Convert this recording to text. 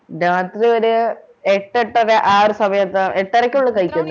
രാത്രി ഒരു എട്ട് എട്ടര ആ ഒരു സമയത്ത് എട്ടരയ്ക്കുള്ളിൽ കഴിക്കും